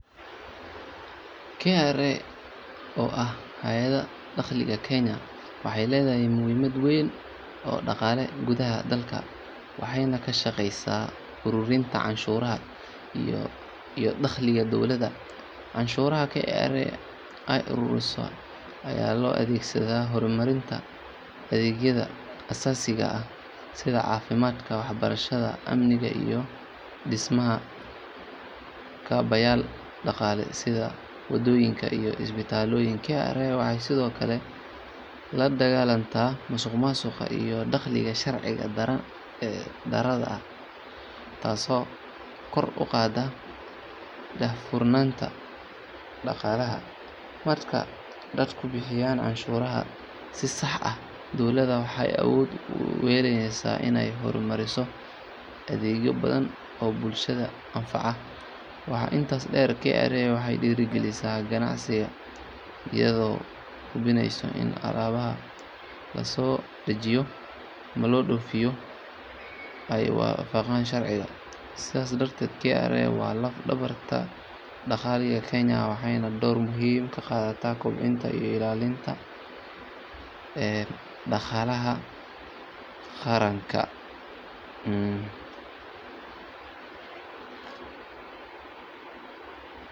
KRA oo ah Hay’adda Dakhliga Kenya waxay leedahay muhiimad weyn oo dhaqaale gudaha dalka waxayna ka shaqeysaa ururinta canshuuraha iyo dakhliga dowladda. Canshuuraha KRA ay ururiso ayaa loo adeegsadaa horumarinta adeegyada aasaasiga ah sida caafimaadka, waxbarashada, amniga iyo dhismaha kaabayaal dhaqaale sida waddooyin iyo isbitaallo. KRA waxay sidoo kale la dagaalantaa musuqmaasuqa iyo dakhliga sharci darrada ah taasoo kor u qaadda daahfurnaanta dhaqaalaha. Marka dadku bixiyaan canshuurta si sax ah, dowladda waxay awood u yeelaneysaa inay horumariso adeegyo badan oo bulshada anfaca. Waxaa intaas dheer, KRA waxay dhiirrigelisaa ganacsiga iyadoo hubinaysa in alaabaha la soo dejiyo ama la dhoofiyo ay waafaqayaan sharciga. Sidaas darteed, KRA waa laf dhabarta dhaqaalaha Kenya waxayna door muuqda ka qaadataa kobcinta iyo ilaalinta dhaqaalaha qaranka.